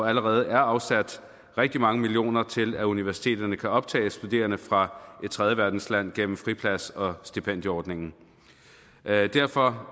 allerede er afsat rigtig mange millioner kroner til at universiteterne kan optage studerende fra et tredjeverdensland gennem friplads og stipendieordningen derfor